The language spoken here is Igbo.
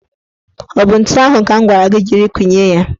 Ọ bụ ntu ahụ ka m gwara gị jiri kụnye ya?